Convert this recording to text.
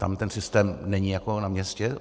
Tam ten systém není jako na městě.